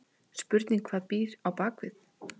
Spurning hvað býr á bakvið?!